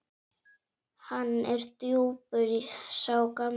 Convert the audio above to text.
Hann er djúpur sá gamli.